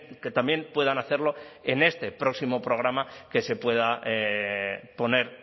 que también puedan hacerlo en este próximo programa que se pueda poner